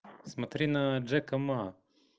смотри на джека ма